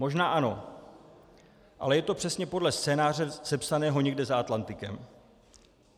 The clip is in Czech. Možná ano, ale je to přesně podle scénáře sepsaného někde za Atlantikem.